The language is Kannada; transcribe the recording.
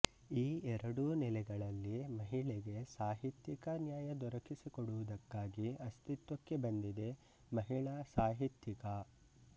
ಈ ಎರಡೂ ನೆಲೆಗಳಲ್ಲಿ ಮಹಿಳೆಗೆ ಸಾಹಿತ್ಯಿಕ ನ್ಯಾಯ ದೊರಕಿಸಿ ಕೊಡುವುದಕ್ಕಾಗಿ ಅಸ್ತಿತ್ವಕ್ಕೆ ಬಂದಿದೆ ಮಹಿಳಾ ಸಾಹಿತ್ಯಿಕಾ